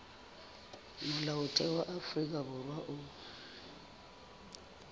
molaotheo wa afrika borwa o